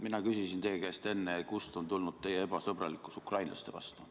Mina küsisin enne teie käest, kust on tulnud teie ebasõbralikkus ukrainlaste vastu.